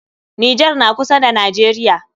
Nijar na kusa da najeriya